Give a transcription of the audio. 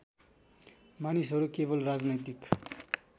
मानिसहरू केवल राजनैतिक